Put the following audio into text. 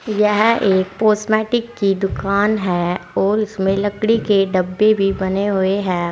यह एक कॉस्मेटिक की दुकान है और उसमें लकड़ी के डब्बे भी बने हुए है।